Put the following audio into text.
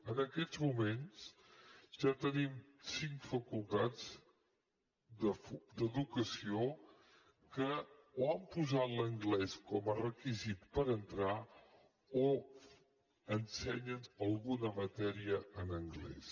en aquests moments ja tenim cinc facultats d’educació que o han posat l’anglès com a requisit per entrar o ensenyen alguna matèria en anglès